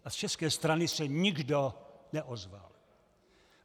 A z české strany se nikdo neozval.